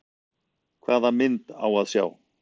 Hvaða mynd á að sjá?